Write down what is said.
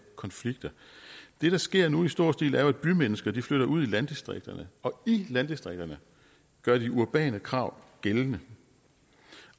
konflikter det der sker nu i stor stil er at bymennesker flytter ud i landdistrikterne og i landdistrikterne gør de urbane krav gældende